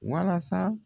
Walasa